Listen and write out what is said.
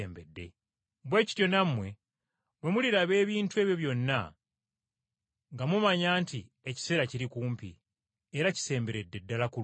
Noolwekyo nammwe bwe muliraba ebintu ebyo byonna, nga mumanya nti ekiseera kiri kumpi, era kisemberedde ddala ku luggi.